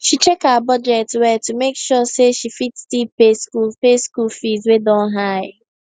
she check her budget well to make sure say she fit still pay school pay school fees wey don high